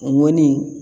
Ŋɔni